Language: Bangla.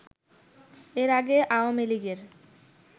এর আগে আওয়ামীলীগের